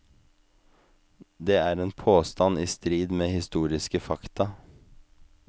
Det er en påstand i strid med historiske fakta.